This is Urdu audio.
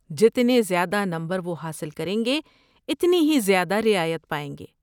جتنے زیادہ نمبر وہ حاصل کریں گے، اتنی ہی زیادہ رعایت پائیں گے۔